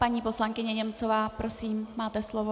Paní poslankyně Němcová, prosím, máte slovo.